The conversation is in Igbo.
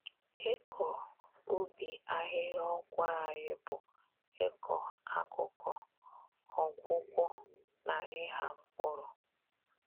Ịkọ ubi ahịhịa ọgwụ anyị bụ ịkọ akụkọ, ọgwụgwọ, na ịgha mpkụrụ.